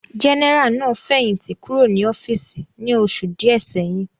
Jẹ́nẹ́rà náà fẹ̀yìntì kúrò ní ọ́fíìsì ní oṣù díẹ̀ sẹ́yìn